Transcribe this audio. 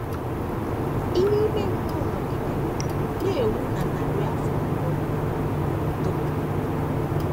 Ìhè ime mmụọ nọgidere na - enwu na narị afọ mbụ dum.